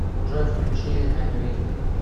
джой включи эмвин